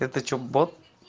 это что бот